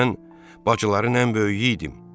Mən bacıların ən böyüyü idim.